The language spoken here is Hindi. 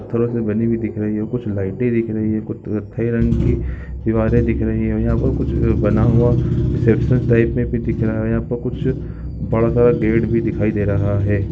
पत्थरो से बनी हुई दिख रही है कुछ लाइटे दिख रही है कुछ कथई रंग की दीवारे दिख रही है यहाँ पर कुछ बना हुआ रिसेप्शन टाइप में भी दिख रहा है यहाँ पर कुछ बड़ा सा गेट भी दिखाई दे रहा है।